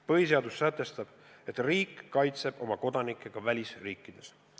Põhiseadus sätestab, et riik kaitseb oma kodanikke ka välisriikides.